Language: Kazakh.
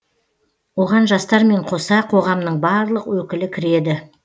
оған жастармен қоса қоғамның барлық өкілі кіреді